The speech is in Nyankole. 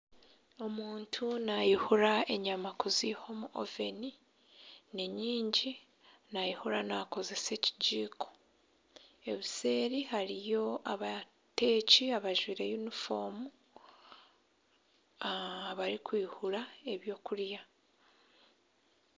Omuntu naayihura enyama kuziiha omu oveni ninyingi naayihura naakozesa ekigiiko, obuseeri hariyo abateeki abajwire yunifoomu abarikwihura eby'okurya